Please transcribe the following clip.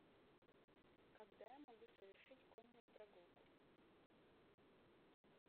когда я могу совершить конную прогулку